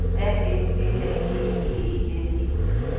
A N L Æ G G E N E